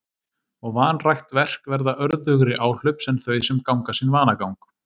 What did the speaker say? Og vanrækt verk verða örðugri áhlaups en þau sem ganga sinn vanagang.